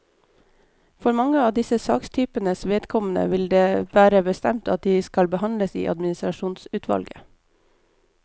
For mange av disse sakstypenes vedkommende vil det være bestemt at de skal behandles i administrasjonsutvalget.